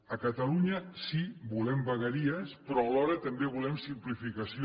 a catalunya sí volem vegueries però alhora també volem simplificació